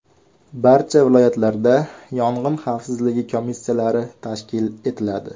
Barcha viloyatlarda yong‘in xavfsizligi komissiyalari tashkil etiladi.